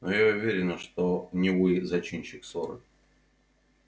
а я уверена что не вы зачинщик ссоры